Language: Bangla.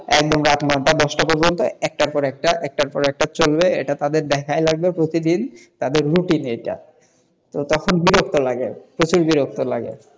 একদম রাত নটা দশটা পর্যন্ত একটার পর একটা একটার পর একটা চলবে এটাই তাদের দেখা লাগবে প্রতিদিনতাদের routine এইটাতো তখন বিরক্ত লাগে প্রচুর বিরক্ত লাগে,